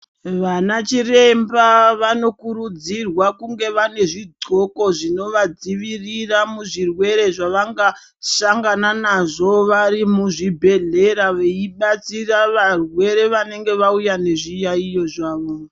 Vana chiremba vano kurudzirwa kunge vane zvidxoko zvinova dzivirira muzvirwere zvavanga sangana nazvo vari muzvibhehlera vei batsira varwere vanenge vauya nezviyaiyo zvavo.